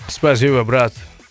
спасибо брат